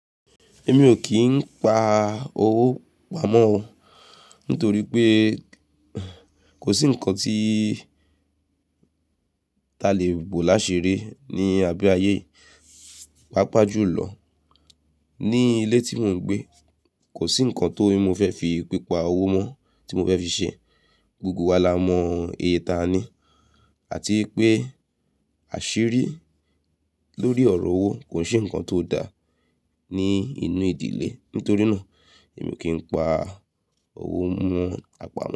Èmi ò kín pá owó pamọ́ nítorí pé kò sí ǹkan tí ta lè bò láṣiri ní abé ayé. Pápá jù lọ ní ilé tí mò ń gbé, kò sí ǹkan tó mi fẹ́ fi pípa owó mó tí mò fẹ́ fi ṣẹ. Gbogbo wa la mọ iye ta ní àti pé àṣírí lórí ọ̀rọ̀ owó kò ṣe ǹkan tó da ní inú ìdílé. Nítorí náà èmi kì í pa owó mú àpamọ́